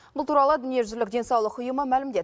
бұл туралы дүниежүзілік денсаулық ұйымы мәлімдеді